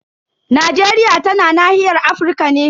Najeriya tana nahiyar Afirka ne.